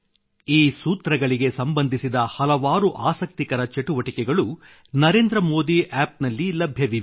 ಈ ಸೂತ್ರಗಳಿಗೆ ಸಂಬಂಧಿಸಿದ ಹಲವಾರು ಆಸಕ್ತಿಕರ ಚಟುವಟಿಕೆಗಳು ನರೇಂದ್ರ ಮೋದಿ ಆಪ್ ನಲ್ಲಿ ಲಭ್ಯವಿವೆ